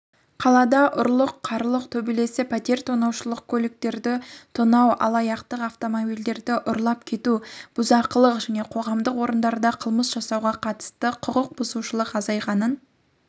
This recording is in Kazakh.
қалада ұрлық-қарлық төбелес пәтер тонаушылық көліктерді тонау алаяқтық автомобильдерлі ұрлап кету бұзақылық және қоғамдық орындарда қылмыс жасауға қатысты құқық бұзушылық азайғанын